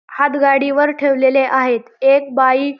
हातगाडीवर ठेवलेले आहेत एक बाई--